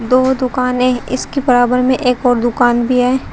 दो दुकानें इसके बराबर में एक और दुकान बी ऐ ।